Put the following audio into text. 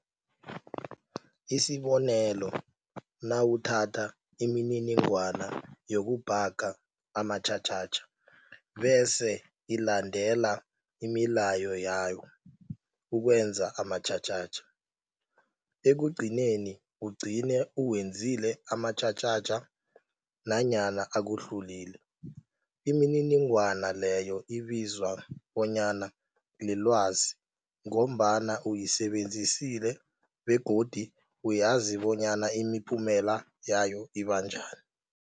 Isibonelo, nawuthatha imininingwana yokubhaga amatjhatjhatjha bese ilandela imilayo yawo ukwenza amatjhatjhatjha. Ekugcineni, ugcine uwenzile amatjhatjhatjha nanyana akuhlulile, imininingwana leyo ibizwa bonyana lilwazi ngombana uyisebenzisile begodu uyazi bonyana imiphumela yayo iba njani.